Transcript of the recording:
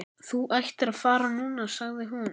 Þú ættir að fara núna, sagði hún.